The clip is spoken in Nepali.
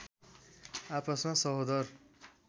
आपसमा सहोदर